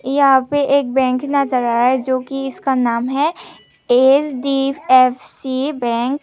यहां पे एक बैंक का नजारा है जो कि इसका नाम है एच_डी_एफ_सी बैंक --